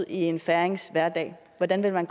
en færings hverdag og hvordan man